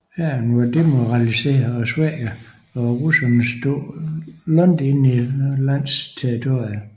Hæren var demoraliseret og svækket og russerne stod langt inde på landets territorium